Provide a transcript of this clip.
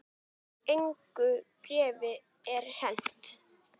Engu bréfi er hent